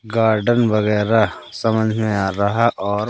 garden वगैरा समझ में आ रहा और--